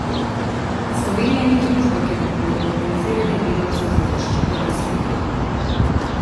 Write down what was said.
Slovenija ni družba, kjer bi bilo organiziranje delavcev za zaščito res potrebno.